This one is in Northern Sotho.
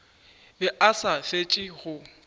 be a sa fetše go